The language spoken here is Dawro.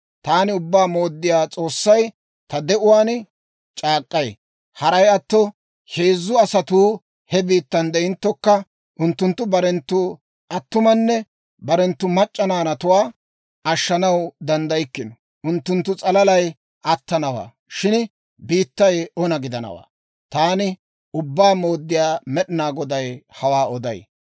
taani Ubbaa Mooddiyaa S'oossay ta de'uwaan c'aak'k'ay: Haray atto, ha heezzu asatuu he biittan de'inttokka, unttunttu barenttu attumanne barenttu mac'c'a naanatuwaa ashshanaw danddaykkino. Unttunttu s'alalay attanawaa; shin biittay ona gidanawaa. Taani Ubbaa Mooddiyaa Med'inaa Goday hawaa oday.